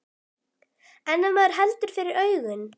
En ef maður heldur fyrir augun.